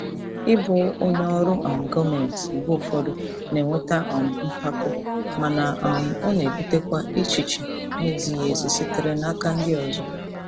Ịbụ onye ọrụ um gọọmentị mgbe ụfọdụ na-eweta um mpako, mana um ọ na-ebutekwa echiche na-ezighị ezi sitere n'aka ndị ọzọ.